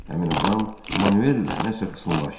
Həmin adam Manuellə nəsə xısınlaşdı.